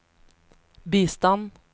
bistand